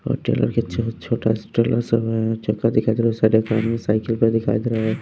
और ट्रेलर के छोटा ट्रेलर सब चक्का दिखाई दे रहा है में साइकिल पर दिखाई दे रहा है।